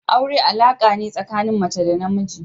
Aure alaƙa ne tsakanin mace da na namiji.